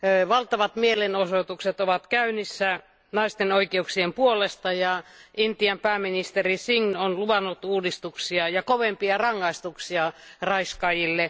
Valtavat mielenosoitukset ovat käynnissä naisten oikeuksien puolesta, ja Intian pääministeri Singh on luvannut uudistuksia ja kovempia rangaistuksia raiskaajille.